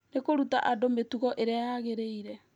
nĩ kũruta andũ mĩtugo ĩrĩa yagĩrĩire